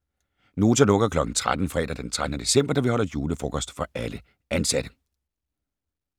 Nota lukker kl. 13 fredag den 13. december, da vi holder julefrokost for alle ansatte.